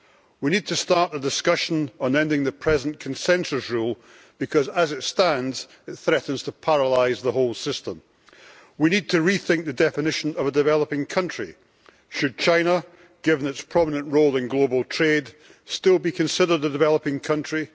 We need to start the discussion on ending the present consensus rule because as it stands, it threatens to paralyse the whole system. We need to rethink the definition of a developing country. Should China, given its prominent role in global trade, still be considered a developing country?